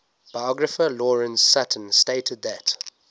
biographer lawrence sutin stated that